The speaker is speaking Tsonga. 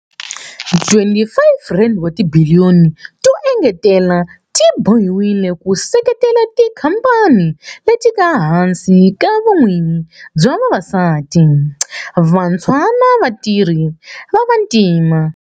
R25 wa tibiliyoni to engetela ti bohiwile ku seketela tikhamphani leti nga ehansi ka vun'wini bya vavasati, vantshwa na vatirhi va vantima.